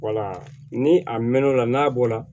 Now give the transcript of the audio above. ni a mɛn'o la n'a bɔ la